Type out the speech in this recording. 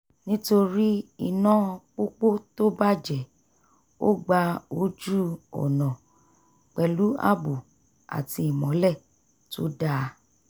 nítorí iná pópó tó bàjẹ́ ó gba ojú-ọ̀nà pẹ̀lú ààbò àti ìmọ́lẹ̀ tó dáa